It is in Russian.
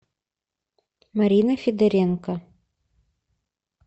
марина федоренко